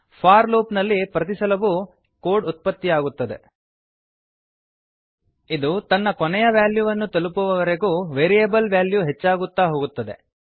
four loop ನಲ್ಲಿ ಪ್ರತಿಸಲವೂ ಎಲ್ಲ ಸಮಯದಲ್ಲಿಯೂ ಕೋಡ್ ಉತ್ಪತ್ತಿಯಾಗುತ್ತದೆ ಇದು ತನ್ನ ಕೊನೆಯ ವ್ಯಾಲ್ಯೂವನ್ನು ತಲುಪುವವರೆಗೂ ವೇರಿಯಬಲ್ ವ್ಯಾಲ್ಯೂ ಹೆಚ್ಚಾಗುತ್ತಾ ಹೋಗುತ್ತದೆ